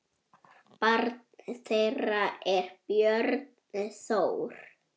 Barn þeirra er Björn Þór.